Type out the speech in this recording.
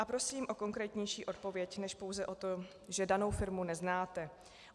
A prosím o konkrétnější odpověď než pouze o to, že danou firmu neznáte.